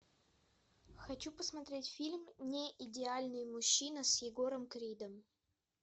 хочу посмотреть фильм неидеальный мужчина с егором кридом